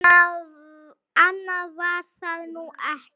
Annað var það nú ekki.